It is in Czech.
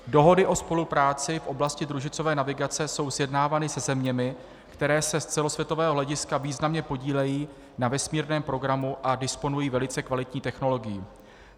Dohody o spolupráci v oblasti družicové navigace jsou sjednávány se zeměmi, které se z celosvětového hlediska významně podílejí na vesmírném programu a disponují velice kvalitní technologií.